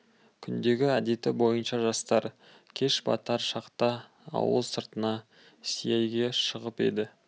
күндегі әдеті бойынша жастар кеш батар шақта ауыл сыртына сейілге шығып еді